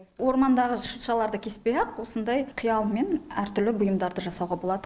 ормандағы шыршаларды кеспей ақ осындай қиялмен әртүрлі бұйымдарды жасауға болады